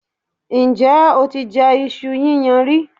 Ǹjẹ́ o ti jẹ iṣu yíyan rí?